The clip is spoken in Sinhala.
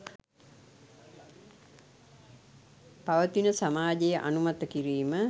පවතින සමාජය අනුමත කිරීම